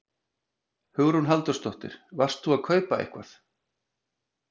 Hugrún Halldórsdóttir: Varst þú að kaupa eitthvað?